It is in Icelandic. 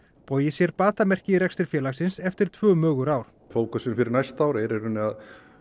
bogi sér batamerki í rekstri félagsins eftir tvö mögur ár fókusinn fyrir næsta ár er að